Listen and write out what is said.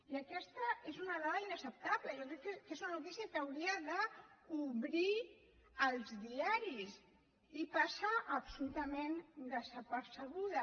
i aquesta és una dada inacceptable jo crec que és una notícia que hauria d’obrir els diaris i passa absolutament desapercebuda